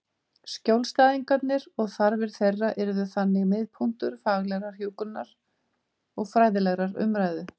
Skjólstæðingarnir og þarfir þeirra yrðu þannig miðpunktur faglegrar hjúkrunar og fræðilegrar umræðu.